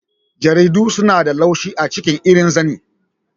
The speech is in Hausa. Jaridu suna da laushi a ciki irin zane.